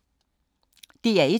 DR1